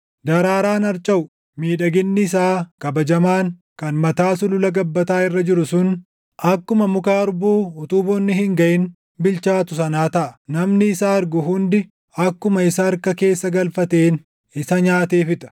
Daraaraan harcaʼu, miidhaginni isaa kabajamaan, kan mataa sulula gabbataa irra jiru sun, akkuma muka harbuu utuu bonni hin gaʼin bilchaatu sanaa taʼa; namni isa argu hundi akkuma isa harka keessa galfateen // isa nyaatee fixa.